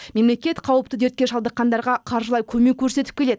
мемлекет қауіпті дертке шалдыққандарға қаржылай көмек көрсетіп келеді